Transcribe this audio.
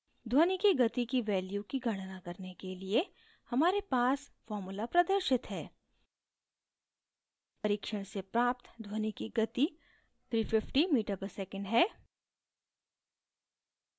ध्वनि की गति की value की गणना करने के लिए हमारे पास formula प्रदर्शित है